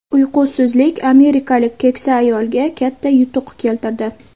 Uyqusizlik amerikalik keksa ayolga katta yutuq keltirdi.